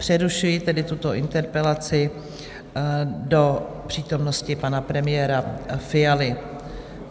Přerušuji tedy tuto interpelaci do přítomnosti pana premiéra Fialy.